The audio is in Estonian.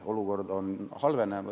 Olukord halveneb.